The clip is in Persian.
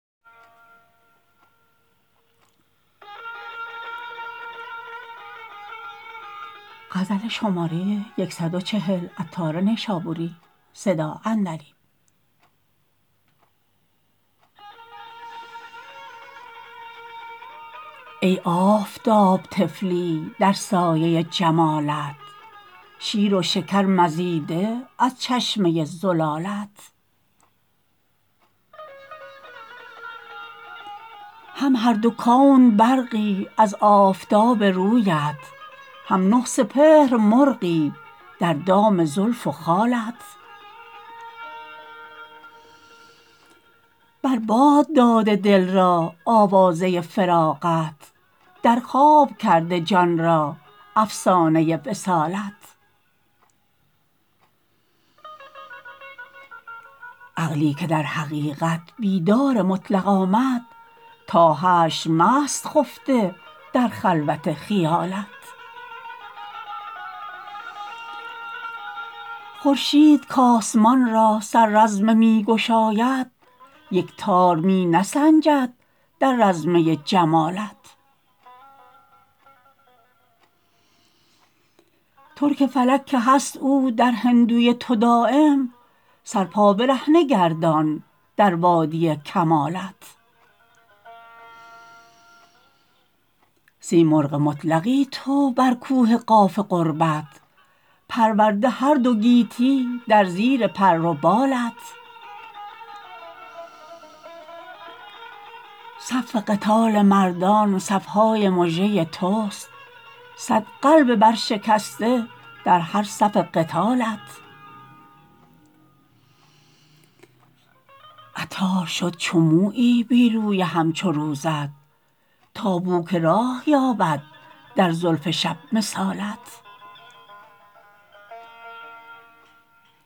ای آفتاب طفلی در سایه جمالت شیر و شکر مزیده از چشمه زلالت هم هر دو کون برقی از آفتاب رویت هم نه سپهر مرغی در دام زلف و خالت بر باد داده دل را آوازه فراقت در خواب کرده جان را افسانه وصالت عقلی که در حقیقت بیدار مطلق آمد تا حشر مست خفته در خلوت خیالت خورشید کاسمان را سر رزمه می گشاید یک تار می نسنجد در رزمه جمالت ترک فلک که هست او در هندوی تو دایم سر پا برهنه گردان در وادی کمالت سیمرغ مطلقی تو بر کوه قاف قربت پرورده هر دو گیتی در زیر پر و بالت صف قتال مردان صف های مژه توست صد قلب برشکسته در هر صف قتالت عطار شد چو مویی بی روی همچو روزت تا بو که راه یابد در زلف شب مثالت